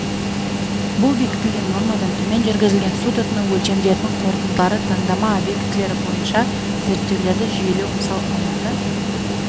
бұл бекітілген нормадан төмен жүргізілген су тұтыну өлшемдерінің қорытындылары таңдама объектілері бойынша зерттеулерді жүйелеу мысал алматы